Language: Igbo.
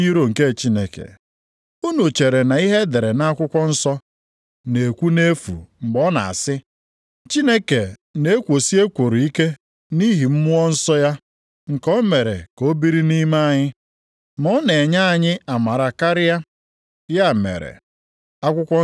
Unu chere na ihe e dere nʼakwụkwọ nsọ na-ekwu nʼefu mgbe ọ na-asị, “Chineke na-ekwosi ekworo ike nʼihi Mmụọ Nsọ ya nke o mere ka o biri nʼime anyị.”